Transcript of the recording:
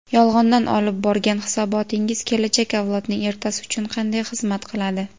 Yolg‘ondan olib borgan hisobotingiz kelajak avlodning ertasi uchun qanday xizmat qiladi?.